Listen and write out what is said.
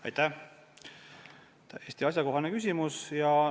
Aitäh, täiesti asjakohane küsimus!